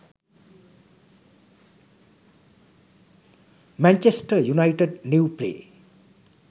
manchester united new play